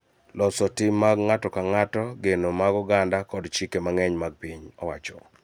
Loso tim mag ng'ato ka ng'ato, geno mag oganda, kod chike mag piny owacho.